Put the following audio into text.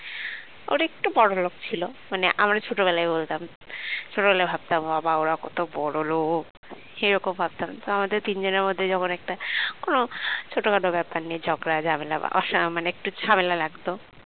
ওরা একটু বড়লোক ছিল মানে আমরা ছোটবেলায় বলতাম ছোটবেলায় ভাবতাম বাবা ওরা কত বড়লোক এরকম ভাবতাম তো আমাদের তিনজনের মধ্যে যখন একটা কোন ছোটখাট ব্যাপার নিয়ে ঝগড়া ঝামেলা মানে অ একটু ঝামেলা লাগতো